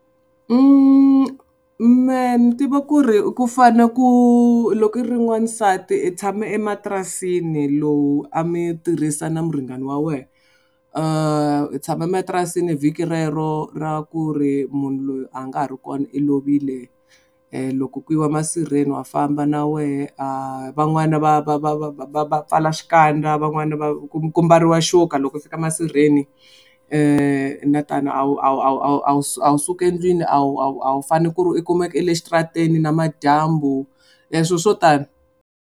Mehe ni tiva ku ri ku fane ku loko i ri n'wansati i tshame ematirasini lowu a mi tirhisa na muringani wa wena i tshama ematirasini vhiki rero ra ku ri munhu loyi a nga ha ri kona i lovile loko ku yiwa masirheni wa famba na wehe a van'wana va va va va va va pfala xikandza van'wana va ku ku mbariwa xoka loko u fika masirheni na tano a wu a wu a wu a wu a wu a wu suki endlwini a wu a wu a wu fanele ku ri i kumeke i le exitarateni namadyambu leswi swo tani.